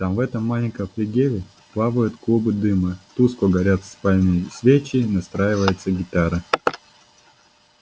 там в этом маленьком флигеле плавают клубы дыма тускло горят сальные свечи настраивается гитара